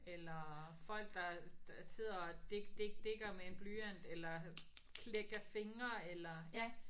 Eller folk der sidder og dik dik dikker med en blyant eller klækker fingre eller ja